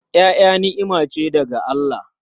Ƴaƴa ni'ima ce daga Allah.